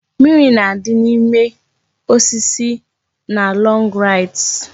Mimiri na-adị n'ime osisi na log rides